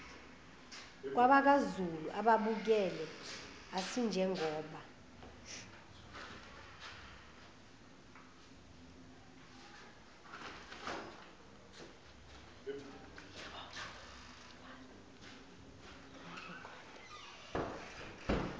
kwabakwazulu ababebukele asinjengoba